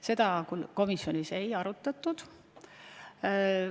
Seda komisjonis ei arutatud.